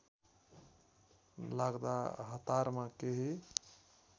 लाग्दा हतारमा केही